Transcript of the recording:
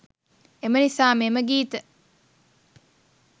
එම නිසාම එම ගීත